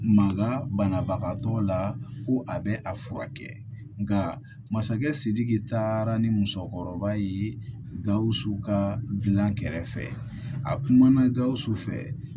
Mankan banabagatɔ la ko a bɛ a furakɛ nka masakɛ sidiki taara ni musokɔrɔba ye gawusu ka gilan kɛrɛfɛ a kumana gawusu fɛ